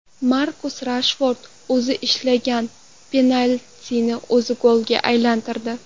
Markus Reshford o‘zi ishlagan penaltini o‘zi golga aylantirdi.